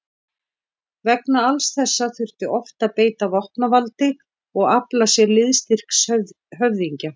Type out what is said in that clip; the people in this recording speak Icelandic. Vegna alls þessa þurfti oft að beita vopnavaldi og afla sér liðstyrks höfðingja.